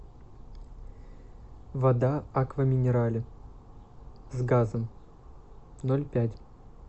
вода аква минерале с газом ноль пять